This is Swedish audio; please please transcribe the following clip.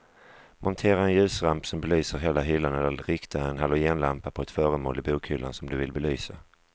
Montera en ljusramp som belyser hela hyllan eller rikta en halogenlampa på ett föremål i bokhyllan som du vill belysa.